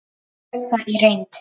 Þannig er það í reynd.